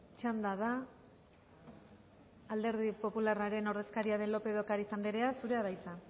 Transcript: txanda da alderdi popularraren ordezkaria den lópez de ocariz anderea zurea da hitza